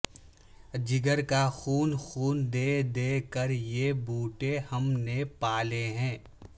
جگر کا خون خون دے دے کر یہ بوٹے ہم نے پا لے ہیں